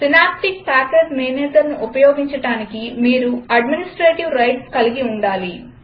synaptic package manager ఉపయోగించడానికి మీరు administrative rights కలిగి ఉండాలి